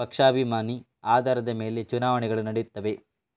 ಪಕ್ಷಾಭಿಮಾನಿ ಆಧಾರದ ಮೇಲೆ ಚುನಾವಣೆಗಳು ನಡೆಯುತ್ತವೆ